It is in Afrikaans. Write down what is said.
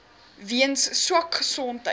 weens swak gesondheid